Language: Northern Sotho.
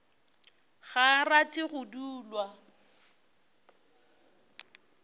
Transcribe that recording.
ga a rate go dulwa